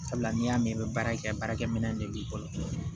Sabula n'i y'a mɛn i bɛ baara kɛ baarakɛ minɛ de b'i bolo